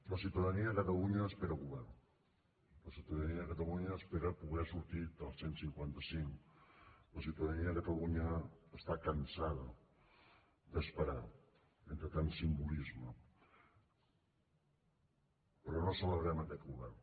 la ciutadania de catalunya espera govern la ciutadania de catalunya espera poder sortir del cent i cinquanta cinc la ciutadania de catalunya està cansada d’esperar entre tant simbolisme però no celebrem aquest govern